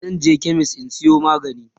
zanje chemist in Sayo magani